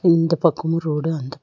இந்த பக்கமு ரோடு அந்--